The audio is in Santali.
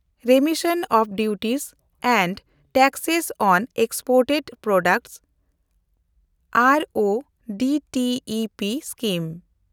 remission of duties and taxes on exported products (R O D T E P) scheme